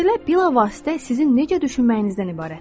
Məsələ bilavasitə sizin necə düşünməyinizdən ibarətdir.